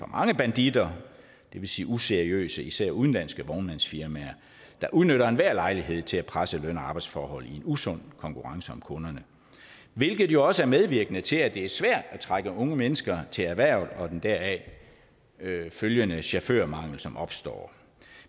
mange banditter det vil sige useriøse især udenlandske vognmandsfirmaer der udnytter enhver lejlighed til at presse løn og arbejdsforhold i en usund konkurrence om kunderne hvilket jo også er medvirkende til at det er svært at trække unge mennesker til erhvervet og den deraf følgende chaufførmangel som opstår